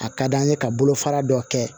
A ka d'an ye ka bolofara dɔ kɛ